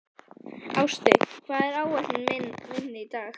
Ástey, hvað er á áætluninni minni í dag?